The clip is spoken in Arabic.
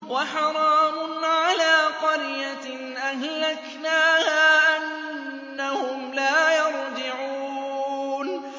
وَحَرَامٌ عَلَىٰ قَرْيَةٍ أَهْلَكْنَاهَا أَنَّهُمْ لَا يَرْجِعُونَ